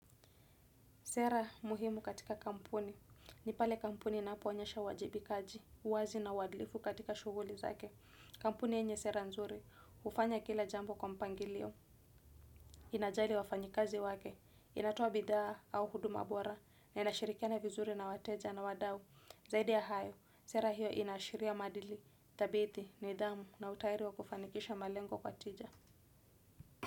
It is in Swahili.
Sera muhimu katika kampuni ni pale kampuni inapoonyesha uwajibikaji, uwazi na uadilifu katika shughuli zake. Kampuni yenye sera nzuri, hufanya kila jambo kwa mpangilio, inajali wafanyikazi wake, inatoa bidhaa au huduma bora, na inashirikiana vizuri na wateja na wadau. Zaidi ya hayo, sera hiyo inaashiria madili dhabiti, nidhamu na utayari wa kufanikisha malengo kwa tija.